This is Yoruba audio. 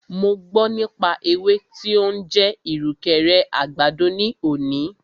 Mo gbọ́ nípa ewé tí o ń jẹ́ ìrùkẹ̀rẹ̀ àgbàdo ní òní.